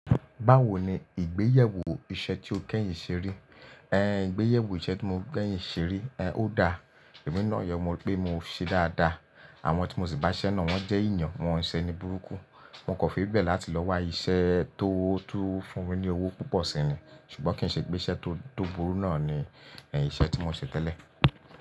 Báwo ni ìgbéyẹwó iṣẹ́ tí o kẹ́yìn ṣe rí? Ẹ̀ Ìgbéyẹwó iṣẹ́ tí mo kẹ́yìn ṣe rí, ẹ̀ ó dáa, èmi náà yọ, mo rí pé mo ṣe dáa dáa, àwọn tí mo sì bá ṣẹ́ náà wọ́n jẹ́ èèyàn, wọ́n ṣẹ́ ni burúkú, mo kò fi bẹ̀ láti lọ wá iṣẹ́ tó tún fún mi ní owó púpọ̀ síyẹn, ṣùgbọ́n kí n ṣe pé iṣẹ́ tó burú náà ni ẹ̀ iṣẹ́ tí mo ṣe tẹ́lẹ̀.